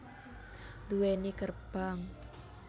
Duweni gerbang